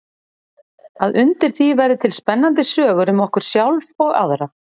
Að undir því verði til spennandi sögur um okkur sjálf og aðra.